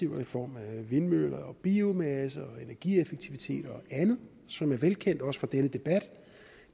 i form af vindmøller biomasse energieffektivitet og andet som er velkendt i også den debat